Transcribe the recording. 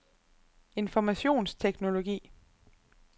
informationsteknologi